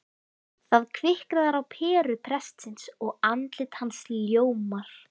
Það kviknar á peru prestsins og andlit hans ljómar